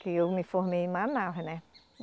Que eu me formei em Manaus, né?